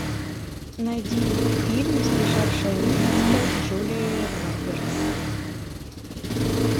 найди фильм сбежавшая невеста с джулией робертс